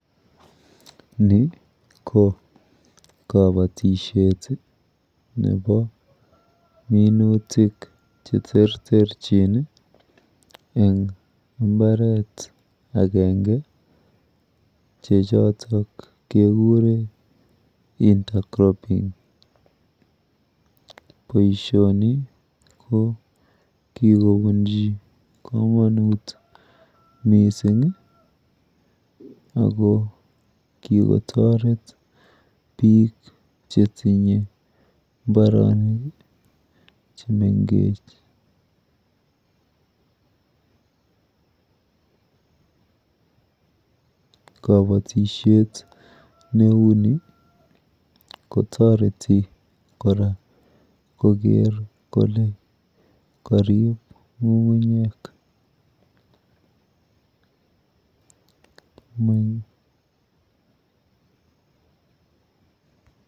Ni ko kabatishet nepo minutik cheterterchin eng mbaret akenge che choto kekure intercropping. Boishoni ko kikobunji komonut mising ako kikotoret biiik chetinye mbaronik chemengech. Kabatishet neuni kotoreti kora koker kole karip ng'ung'unyek.